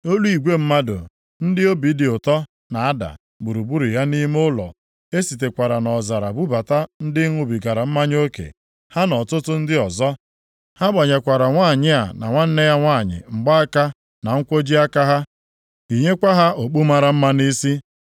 “Olu igwe mmadụ ndị obi dị ụtọ na-ada gburugburu ya nʼime ụlọ, e sitekwara nʼọzara bubata ndị ṅụbigara mmanya oke, ha na ọtụtụ ndị ọzọ, Ha gbanyekwara nwanyị a na nwanne ya nwanyị mgbaaka na nkwoji aka ha, yinyekwa ha okpueze mara mma nʼisi.